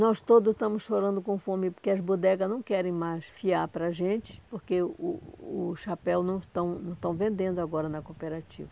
Nós todos estamos chorando com fome, porque as bodegas não querem mais fiar para a gente, porque o o chapéu não estão não estão vendendo agora na cooperativa.